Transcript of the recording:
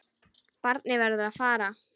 Barnið verður að fara.